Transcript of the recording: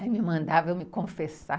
Aí me mandava eu me confessar.